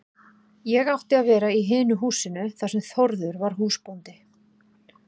Ég átti að vera í hinu húsinu þar sem Þórður var húsbóndi.